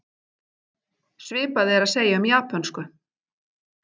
Svipað er að segja um japönsku.